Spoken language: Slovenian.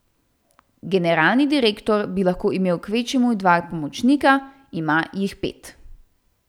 Generalni direktor bi lahko imel kvečjemu dva pomočnika, ima jih pet.